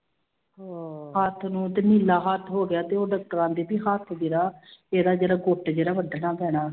ਹੱਥ ਨੂੰ ਤੇ ਨੀਲਾ ਹੱਥ ਹੋ ਗਿਆ ਤੇ ਉਹ ਕਹਿੰਦੀ ਵੀ ਹੱਥ ਜਿਹੜਾ ਇਹਦਾ ਜਿਹੜਾ ਗੁੱਟ ਜਿਹੜਾ ਵੱਢਣਾ ਪੈਣਾ।